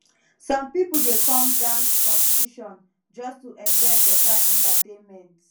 some people dey come dance competition just to enjoy better entertainment